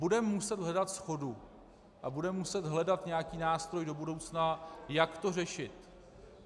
Budeme muset hledat shodu a budeme muset hledat nějaký nástroj do budoucna, jak to řešit.